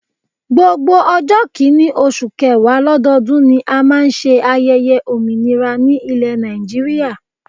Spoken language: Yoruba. Gbogbo ọjọ́ kìíní oṣù kẹwàá lọ́dọọdún ni a máa ń ṣe ayẹyẹ òmìnira ní ilé Nàìjíríà